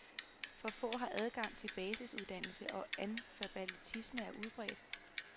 For få har adgang til basisuddannelse og analfabetismen er udbredt.